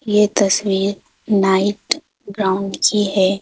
ये तस्वीर night ground की है।